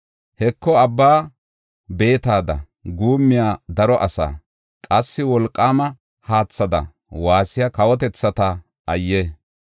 Heko, abba beetada guummiya daro asaa, qassi wolqaama haathada waassiya kawotethata ayye!